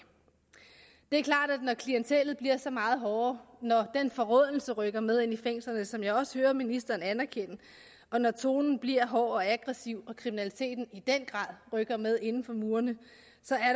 er klart at når klientellet bliver så meget hårdere når den forråelse rykker med ind i fængslerne som jeg også hører ministeren anerkender og når tonen bliver hård og aggressiv og kriminaliteten i den grad rykker med inden for murene